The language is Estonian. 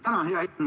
Tänan!